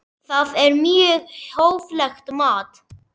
Það er mjög hóflegt mat.